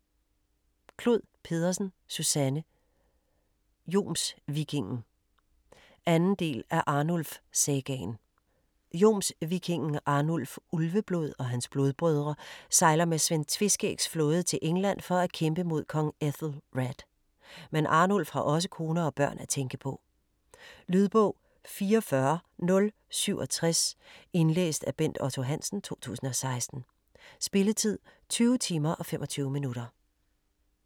Clod Pedersen, Susanne: Jomsvikingen 2. del af Arnulf sagaen. Jomsvikingen Arnulf Ulveblod og hans blodbrødre sejler med Svend Tveskægs flåde til England for at kæmpe mod Kong Æthelred, men Arnulf har også kone og børn at tænke på. Lydbog 44067 Indlæst af Bent Otto Hansen, 2016. Spilletid: 20 timer, 25 minutter.